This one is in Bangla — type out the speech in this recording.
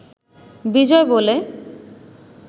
বিজয় বলে